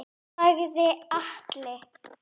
sagði Alli.